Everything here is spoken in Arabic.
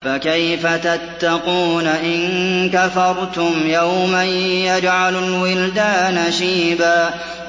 فَكَيْفَ تَتَّقُونَ إِن كَفَرْتُمْ يَوْمًا يَجْعَلُ الْوِلْدَانَ شِيبًا